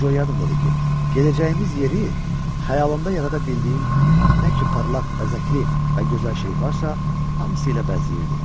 Bircə yadımdadır ki, gedəcəyimiz yeri xəyalımda yarada bildiyim nə ki parlaq, bəzəkli və gözəl şey varsa, hamısı ilə bəzəyirdim.